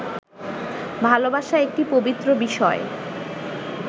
ভালোবাসা একটি পবিত্র বিষয়